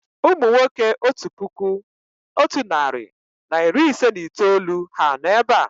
Ụmụ nwoke otu puku otu narị na iri ise na itoolu ha nọ̀ èbé à?